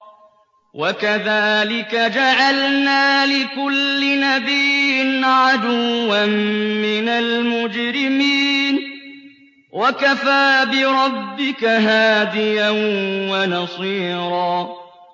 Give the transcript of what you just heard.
وَكَذَٰلِكَ جَعَلْنَا لِكُلِّ نَبِيٍّ عَدُوًّا مِّنَ الْمُجْرِمِينَ ۗ وَكَفَىٰ بِرَبِّكَ هَادِيًا وَنَصِيرًا